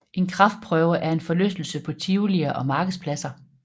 En kraftprøve er en forlystelse på tivolier og markedspladser